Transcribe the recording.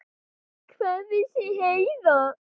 Hvað vissi Heiða?